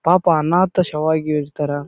ಪಾಪ ಅನಾಥ ಶವ ಆಗಿ ಇಡ್ತಾರ.